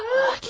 Ah, get.